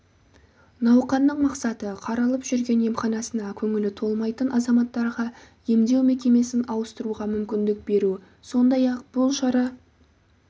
науқанның мақсаты қаралып жүрген емханасына көңілі толмайтын азаматтарға емдеу мекемесін ауыстыруға мүмкіндік беру сондай-ақ бұл шара